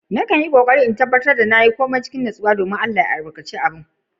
Na kan tabatar na nasu a komin da nake yi, dominn Allah ya albarkace ƙoƙari na